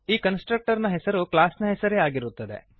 ಈ ಕನ್ಸ್ಟ್ರಕ್ಟರ್ನ ಹೆಸರು ಕ್ಲಾಸ್ನ ಹೆಸರೇ ಆಗಿರುತ್ತದೆ